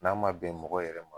N'a ma bɛn mɔgɔ yɛrɛ ma